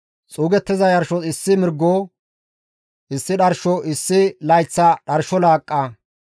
xuugettiza yarshos issi mirgo, issi dharsho, issi layththa dharsho laaqqa,